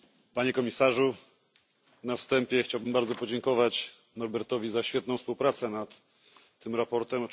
Panie Komisarzu! Na wstępie chciałbym bardzo podziękować Norbertowi za świetną współpracę nad tym sprawozdaniem.